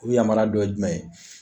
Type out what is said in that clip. O yamariya dɔ ye jumɛn ye